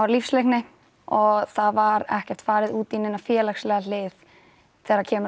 lífsleikni og það var ekki farið út í neina félagslega hlið þegar kemur